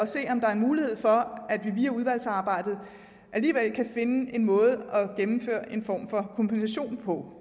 se om der er en mulighed for at vi via udvalgsarbejdet alligevel kan finde en måde at gennemføre en form for kompensation på